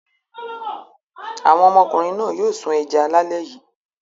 Àwọn ọmọkùnrin náà yóò sun ẹja lálẹ́ yìí.